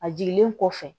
A jiginlen kɔfɛ